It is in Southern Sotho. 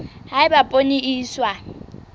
ha eba poone e iswa